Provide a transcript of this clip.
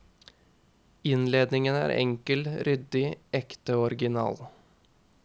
Innredningen er enkel, ryddig, ekte og original.